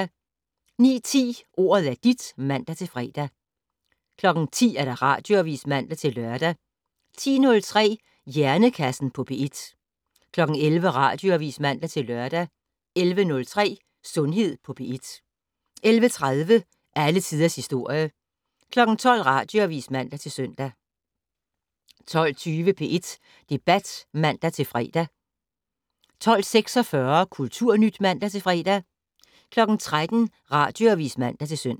09:10: Ordet er dit (man-fre) 10:00: Radioavis (man-lør) 10:03: Hjernekassen på P1 11:00: Radioavis (man-lør) 11:03: Sundhed på P1 11:30: Alle tiders historie 12:00: Radioavis (man-søn) 12:20: P1 Debat (man-fre) 12:46: Kulturnyt (man-fre) 13:00: Radioavis (man-søn)